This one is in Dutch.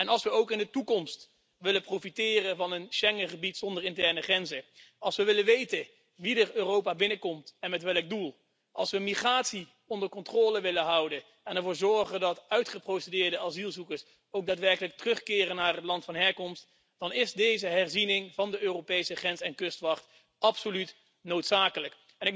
Als we ook in de toekomst willen profiteren van een Schengengebied zonder interne grenzen, als we willen weten wie Europa binnenkomt en met welk doel, als we migratie onder controle willen houden en als we ervoor willen zorgen dat uitgeprocedeerde asielzoekers ook daadwerkelijk naar hun land van herkomst terugkeren, dan is deze herziening van de Europese grens en kustwacht absoluut noodzakelijk.